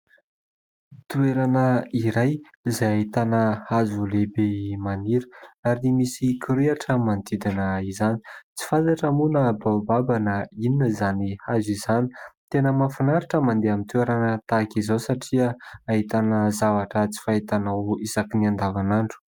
Toerana iray izay ahitana hazo lehibe maniry ary misy kirihitra ny manodidina izany. Tsy fantatra moa na baobab na inona izany hazo izany. Tena mahafinaritra ny mandeha amin'ny toerana tahaka izao satria ahitana tsy fahitanao isaky ny andavanandro.